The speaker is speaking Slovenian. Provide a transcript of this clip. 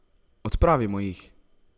Odpravimo jih!